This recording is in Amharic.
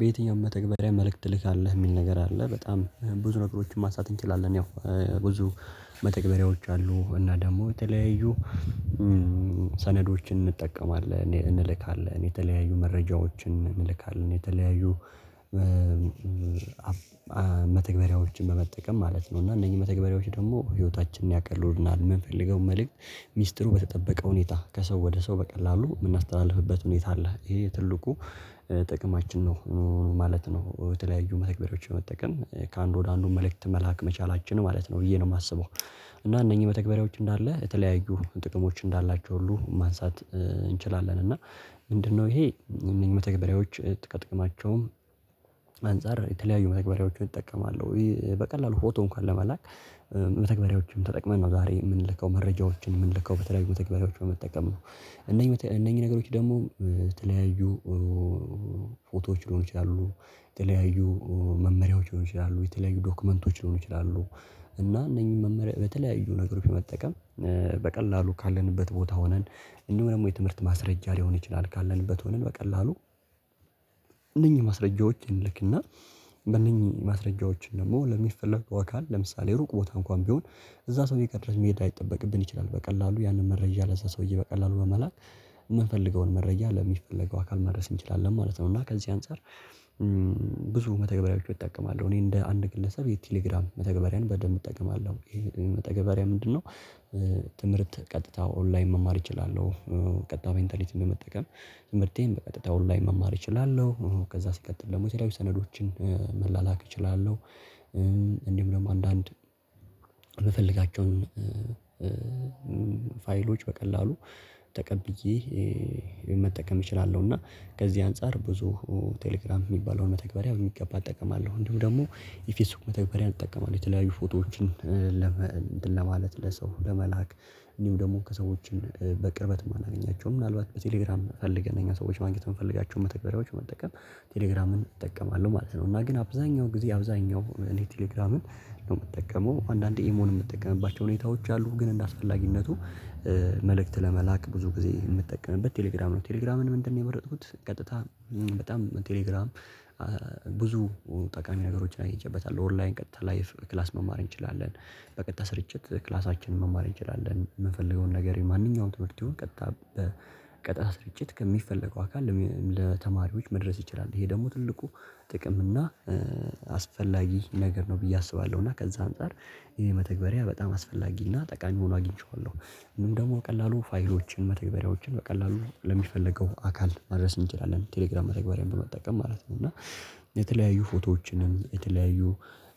በየትኛውም መተግበሪያ መልእክት ትልካለህ የሚል ነገር አለ በጣም ብዙ ነገሮችን ማንሳት እንችላለን። ያው ብዙ መተግበሪያዎች አሉ እና ደግሞ የተለያዩ ሰነዶችን እንጠቀማለን እንልካለን የተለያዩ መረጃዎችን እንልካለን የተለያዩ መተግበሪያዎችን በመጠቀም ማለት ነው። እና እነኚህ መተግበሪያዎች ደግሞ ህይወታችንን ያቀሉልናል የምንፈልገው መልእክት ሚስጥሩ በተጠበቀ ሁኔታ ከሰው ወደ ሰው በቀላሉ የምናስተላልፍበት ሁኔታ አለ ይሄ ትልቁ ጥቅማችን ነው ማለት ነው። በተለያዩ መተግበሪያዎች መጠቀም ከአንዱ ወደ አንዱ መልእክት መላክ መቻላችን ማለት ነው ብዬ ነው የማስበው። እና እነኝህ መተግበሪያዎች እንዳለ የተለያዩ ጥቅሞች እንዳላቸው ሁሉ ማንሳት እንችላለን። እና ምንድነው? ይሄ እነዚህ መተግበሪያዎች ጥቅማቸውም አንፃር የተለያዩ መተግበሪያዎችን እጠቀማለሁ በቀላሉ ፎቶ እንኳን ለመላክ መተግባሪዎችን ተጠቅመን ነው ዛሬ የምንልከው መረጃዎችን የምንልከው በተለይ መተግባሪያዎች በመጠቀም ነው። እነኚህ እነኚህ ነገሮች ደግሞ የተለያዩ ፎቶዎች ሊሆኑ ይችላሉ የተለያዩ መመሪያዎች ይሆናሉ የተለያዩ ዶክመንቶች ሊሆኑ ይችላሉ። እና እነኚህ መመሪያ በተለያዩ ነገሮች መጠቀም በቀላሉ ካለንበት ቦታ ሆነን እንደውም ደግሞ የትምህርት ማስረጃ ሊሆን ይችላል። ካለንበት ሆነን በቀላሉ እነኚህ ማስረጃዎችን ልክና በእነኚህ ማስረጃዎችን ደግሞ ለሚፈልጉ አካል ለምሳሌ ሩቅ ቦታ እንኳን ቢሆን እዛ ሰውዬጋ ድረስ መሄድ ለይጠበቅብን ይችላል በቀላሉ ያንን መረጃ ለዛ ሰውዬ በቀላሉ በመላክ የምፈልገውን መረጃ ለሚፈለገው አካል መድረስ እንችላለን ማለት ነው። እና ከዚህ አንፃር ብዙ መተግበሪያዎችን እጠቀማለው እኔ እንደ አንድ ግለሰብ የቴሌግራም መተግበሪያን በደንብ እጠቀማለሁ። ይሄ መተግበሪያ ምንድነው? ትምህርት ቀጥታ ኦንላይን መማር እችላለሁ። ቀጥታ ሜንታሊቲን በመጠቀም ትምህርቴን በቀጥታ ኦንላይን መማር እችላለሁ። ከዛ ሲቀጥል ደግሞ የለያዩ ሰነዶችን መላላክ እችላለሁ። እንድሁም ደግሞ አንዳንድ በምፈልጋቸው ፋይሎች በቀላሉ ተቀብዬ መጠቀም እችላለሁ። እና ከዚህ አንፃር ብዙ ቴሌግራም የሚባለውን መተግበሪያ በሚገባ እጠቀማለሁ። እንዲሁም ደግሞ የፌስቡክ መተግበሪያን እጠቀማለሁ። የተለያዩ ፎቶዎችን ለማለት ለሰው ለመላክ እንዲሁ ደግሞ ሰዎችን በቅርበት የማናገኛቸውን ምናልባት በቴሌግራም ፈልገን እነኛ ሰዎች ማግኘት ብንፈልጋቸው መተግበሪያዎች መጠቀም ቴሌግራምን እጠቀማለሁ ማለት ነው። እና ግን አብዛኛው ጊዜ አብዛኛው እኔ ቴሌግራምን ነው የምጠቀመው አንዳንዴ ኢሞን የምትጠቀምባቸው ሁኔታዎች አሉ። ግን እንደ አስፈላጊነቱ መልእክት ለመላክ ብዙ ጊዜ የምጠቀምበት ቴሌግራም ነው። ቴሌግራምን ምንድነው? የመረጥኩት ቀጥታ በጣም ቴሌግራም ብዙ ጠቃሚ ነገሮችን አግንቸበታው ኦንላይን ቀጥታ ላይቭ ክላስ መማር እንችላለን። በቀጥታ ስርጭት ክላሳችንን መማር እንችላለን የምፈልገውን ነገር የማንኛውንም ትምህርት ቢሆን ቀጥታ በቀጥታ ስርጭት ከሚፈለገው አካል ለተማሪዎች መድረስ ይችላል። ይሄ ደግሞ ትልቁ ጥቅም እና አስፈላጊ ነገር ነው ብዬ አስባለሁ። እና ከዛ አንፃር ይሄ መተግበሪያ በጣም አስፈላጊ እና ጠቃሚ ሆኖ አግኝቼዋለሁ። እንዲሁም ደግሞ ቀላሉ ፋይሎችን መተግበሪያዎችን በቀላሉ ለሚፈለገው አካል ማድረስ እንችላለን ቴሌግራም መተግበሪያን በመጠቀም ማለት ነው። እና የተለያዩ ፎቶዎችንም የተለያዩ